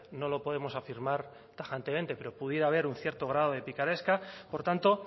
no lo podemos afirmar tajantemente pero pudiera haber un cierto grado de picaresca por tanto